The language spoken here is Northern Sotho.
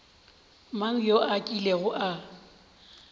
mang yo a kilego a